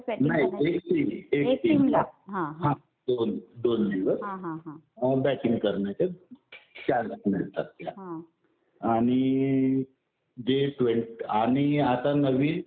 नाही एक टीम. एक टीमला दोन दिवस बॅटिंग करण्याचे चान्स मिळतात. आणि जे, आणि आता नवीन